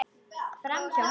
Framhjá henni.